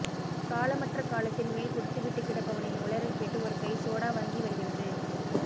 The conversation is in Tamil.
காலமற்ற காலத்தின் மேல் குடித்துவிட்டுக் கிடப்பவனின் உளறல் கேட்டு ஒரு கை சோடா வாங்கி வருகிறது